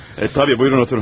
Ə, təbii, buyurun oturun.